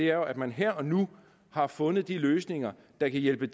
er jo at man her og nu har fundet de løsninger der kan hjælpe